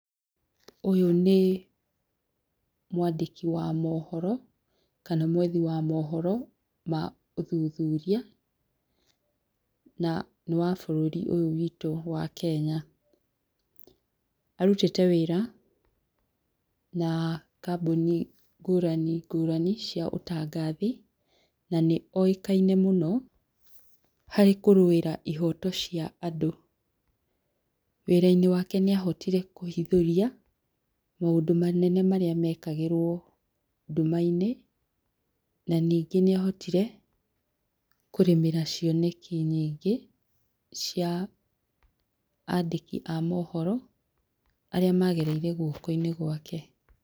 Ũyũ nĩ mwandĩki wa mohoro, kana mwethi wa mohoro ma ũthuthuria, na nĩ wa bũrũri ũyũ witũ wa Kenya, arutĩte wĩra na kambuni ngũrani ngũrani cia ũtangathi, nanĩ oĩkaine mũno harĩ kũrũĩra ihoto cia andũ, wĩra-inĩ wake nĩ ahotire kũhithũria maũndũ manene marĩa mekagĩrwo nduma-inĩ na ningĩ nĩ ahotire kũrĩmĩra cioneki nyingĩ cia andĩki a mohoro arĩa magereire guoko-inĩ gwake.